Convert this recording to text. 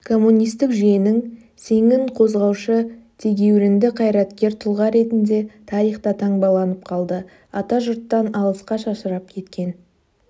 коммунистик жүйенің сеңін қозғаушы тегеурінді қайраткер тұлға ретінде тарихта таңбаланып қалды атажұрттан алысқа шашырап кеткен